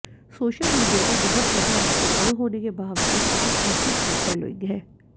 social media पर बहुत ज्यादा एक्टिव न होने के बावजूद उनकी खासी फैन फॉलोइंग है